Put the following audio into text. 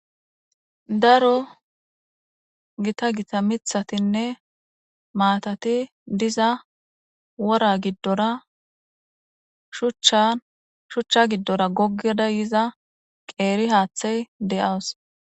daro gitta gitta miththatinne maatati diza wora giddora shuchcha giddora goggada yiza qeeri haaththey de'awuss